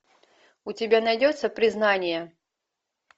у тебя найдется признание